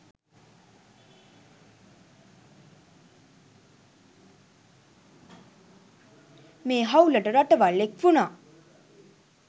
මේ හවුලට රටවල් එක් වුණා.